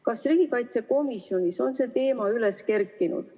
Kas riigikaitsekomisjonis on see teema üles kerkinud?